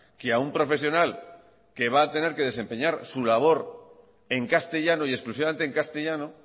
que a un profesional que va a tener que desempeñar su labor en castellano y exclusivamente en castellano